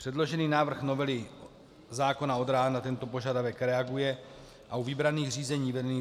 Předložený návrh novely zákona o dráhách na tento požadavek reaguje a u vybraných řízení vedených